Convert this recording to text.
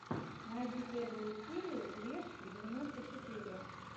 найди первую серию решки девяносто четыре